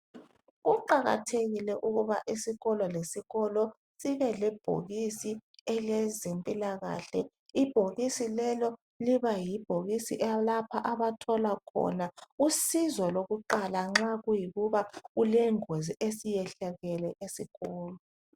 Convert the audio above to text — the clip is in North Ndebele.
Kuqakathekile ukuthi isikolo lesikolo sibe lebhokisi elezempilakahle. Ibhokisi lelo liyabe lilemithi esizayo Uma kuthe kwavela ingozi esikolweni.